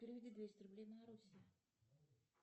переведи двести рублей марусе